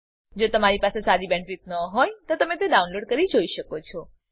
જો તમારી પાસે સારી બેન્ડવિડ્થ ન હોય તો તમે વિડીયો ડાઉનલોડ કરીને જોઈ શકો છો